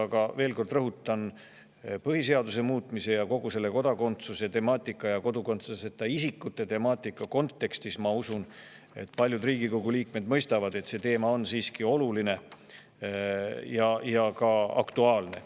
Rõhutan veel kord: ma usun, et paljud Riigikogu liikmed mõistavad kogu selle põhiseaduse muutmise ning kodakondsuse ja kodakondsuseta isikute temaatika kontekstis, et teema on siiski oluline ja ka aktuaalne.